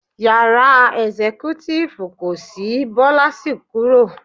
Yàrá ẹ̀sẹ́kútífù kò sì, Bọ́lá sì kúrò.